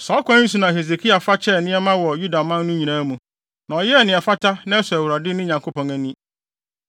Saa ɔkwan yi so na Hesekia fa kyɛɛ nneɛma wɔ Yudaman no mu nyinaa, na ɔyɛɛ nea ɛfata na ɛsɔ Awurade, ne Nyankopɔn ani.